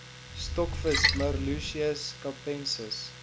stokvis merluccius capensis